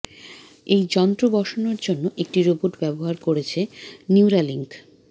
এই যন্ত্র বসানোর জন্য একটি রোবট ব্যবহার করছে নিউরালিঙ্ক